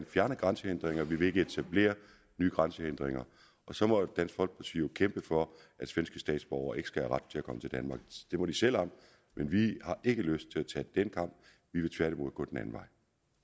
fjerne grænsehindringer vi vil ikke etablere nye grænsehindringer så må dansk folkeparti jo kæmpe for at svenske statsborgere ikke skal have ret til at komme til danmark det må de selv om men vi har ikke lyst til at tage den kamp vi vil tværtimod gå den anden vej